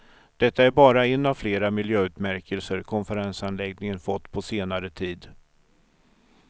Detta är bara en av flera miljöutmärkelser konferensanläggningen fått på senare tid.